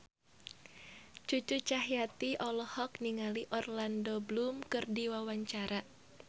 Cucu Cahyati olohok ningali Orlando Bloom keur diwawancara